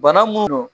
Bana mun don